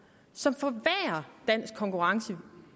som forværrer dansk konkurrenceevne